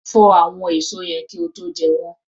Fọ àwọn èso yẹn kí ó tó jẹ́ wọn.